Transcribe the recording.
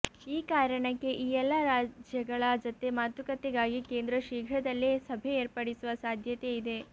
ಈ ಕಾರಣಕ್ಕೆ ಈ ಎಲ್ಲಾ ರಾಜ್ಯಗಳ ಜತೆ ಮಾತುಕತೆಗಾಗಿ ಕೇಂದ್ರ ಶೀಘ್ರದಲ್ಲೇ ಸಭೆ ಏರ್ಪಡಿಸುವ ಸಾಧ್ಯತೆಯಿದೆ